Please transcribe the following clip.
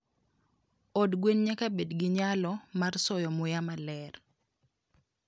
Od gwen nyaka bed gi nyalo mar soyo muya maler